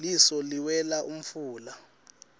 liso liwela umfula